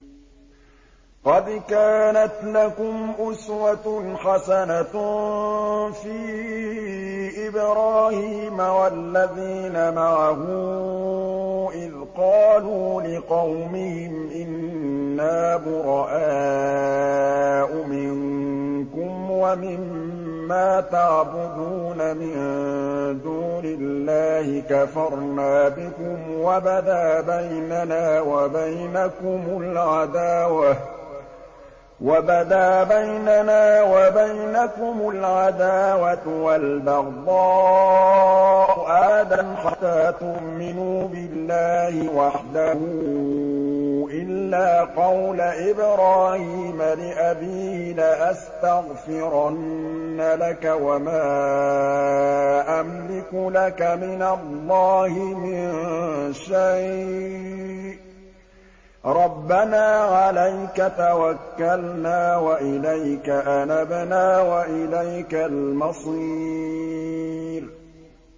قَدْ كَانَتْ لَكُمْ أُسْوَةٌ حَسَنَةٌ فِي إِبْرَاهِيمَ وَالَّذِينَ مَعَهُ إِذْ قَالُوا لِقَوْمِهِمْ إِنَّا بُرَآءُ مِنكُمْ وَمِمَّا تَعْبُدُونَ مِن دُونِ اللَّهِ كَفَرْنَا بِكُمْ وَبَدَا بَيْنَنَا وَبَيْنَكُمُ الْعَدَاوَةُ وَالْبَغْضَاءُ أَبَدًا حَتَّىٰ تُؤْمِنُوا بِاللَّهِ وَحْدَهُ إِلَّا قَوْلَ إِبْرَاهِيمَ لِأَبِيهِ لَأَسْتَغْفِرَنَّ لَكَ وَمَا أَمْلِكُ لَكَ مِنَ اللَّهِ مِن شَيْءٍ ۖ رَّبَّنَا عَلَيْكَ تَوَكَّلْنَا وَإِلَيْكَ أَنَبْنَا وَإِلَيْكَ الْمَصِيرُ